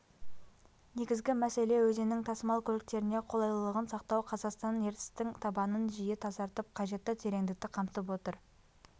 негізгі мәселе өзеннің тасымал көліктеріне қолайлылығын сақтау қазақстан ертістің табанын жиі тазартып қажетті тереңдікті қамтып отыр